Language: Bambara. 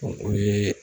O ye